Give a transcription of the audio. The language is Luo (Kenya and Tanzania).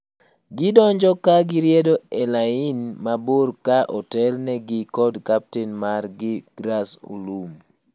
Gidonjo ka gi riedo e lain mabor ka otel ne gi koda kaptain mar gi Grass Olum.